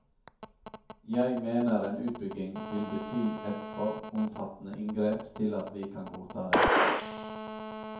Jeg mener en utbygging vil bety et for omfattende inngrep til at vi kan godta det.